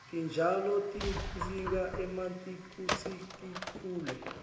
titjalo tidzinga emanti kutsi tikhule